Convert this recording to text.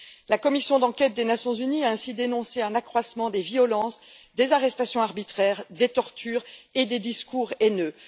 La commission d'enquête des Nations unies a ainsi dénoncé un accroissement des violences, des arrestations arbitraires, des tortures et des discours haineux.